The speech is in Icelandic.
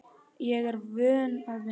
Ég er vön að vinna.